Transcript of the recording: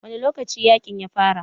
Wane lokaci yakin ya fara?